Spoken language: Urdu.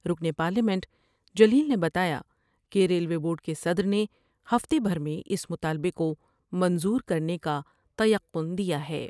رکن پارلیمنٹ جلیل نے بتایا کہ ریلوے بورڈ کے صدر نے ہفتے بھر میں اس مطالبے کومنظور کر نے کا تیقن دیا ہے ۔